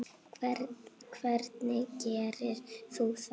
Hvernig gerir þú það?